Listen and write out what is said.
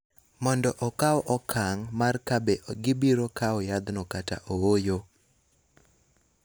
mondo okaw okang� mar ka be gibiro kawo yathno kata ooyo.